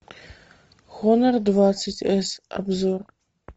хонор двадцать с обзор